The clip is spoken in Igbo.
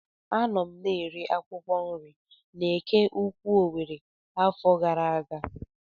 A nọ m na-ere akwụkwọ nri n'Eke Ukwu Owere afọ gara aga.